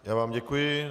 Já vám děkuji.